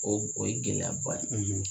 O o ye gɛlɛyaba de ye